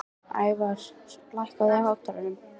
Ævarr, lækkaðu í hátalaranum.